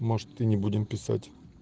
может ты не будем писать